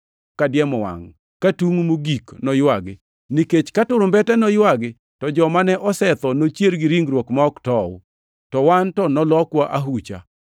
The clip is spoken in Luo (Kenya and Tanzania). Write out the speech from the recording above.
kadiemo wangʼ ka tungʼ mogik noywagi. Nikech ka turumbete noywagi to jomane osetho nochier gi ringruok ma ok tow, to wan to nolokwa ahucha.